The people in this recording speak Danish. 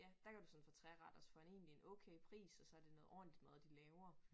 Ja der kan du sådan få treretters for en egentlig en okay pris og så det noget ordentligt mad de laver